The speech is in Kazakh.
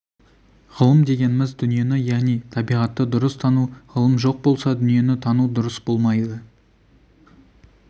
ғылым дегеніміз дүниені яғни табиғатты дұрыс тану ғылым жоқ болса дүниені тану дұрыс болмайды